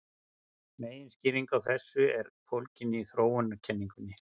Meginskýringin á þessu er fólgin í þróunarkenningunni.